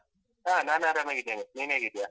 ಹಾ ನಾನ್ ಆರಾಮಾಗಿದ್ದೇನೆ, ನೀನ್ ಹೇಗಿದ್ದಿಯಾ?